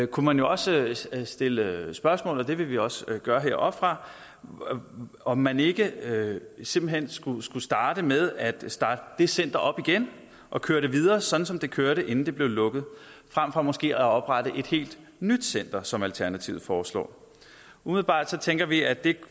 kunne man jo også stille spørgsmålet og det vil vi også gøre heroppefra om man ikke simpelt hen skulle skulle starte med at starte det center op igen og køre det videre sådan som det kørte inden det blev lukket frem for måske at oprette et helt nyt center som alternativet foreslår umiddelbart tænker vi at det